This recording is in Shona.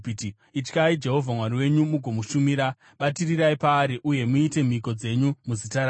Ityai Jehovha Mwari wenyu mugomushumira. Batirirai paari uye muite mhiko dzenyu muzita rake.